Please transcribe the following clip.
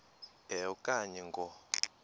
a okanye ngo